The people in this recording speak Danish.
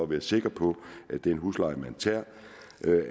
være sikker på at den husleje der tages